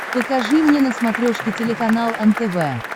покажи мне на смотрешке телеканал нтв